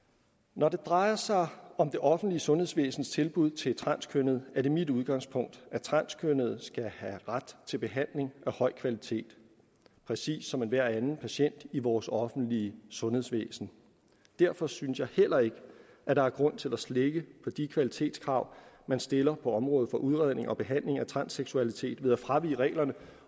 når det drejer sig om det offentlige sundhedsvæsens tilbud til transkønnede er det mit udgangspunkt at transkønnede skal have ret til behandling af høj kvalitet præcis som enhver anden patient i vores offentlige sundhedsvæsen derfor synes jeg heller ikke at der er grund til at slække på de kvalitetskrav man stiller på området for udredning og behandling af transseksualitet ved at fravige reglerne